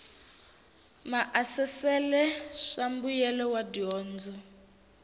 maasesele swa mbuyelo wa dyondzo